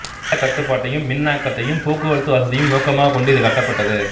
வெள்ளக் கட்டுப்பாட்டையும் மின்னாக்கத்தையும் போக்குவரத்து வசதியையும் நோக்கமாகக் கொண்டு இது கட்டப்பட்டது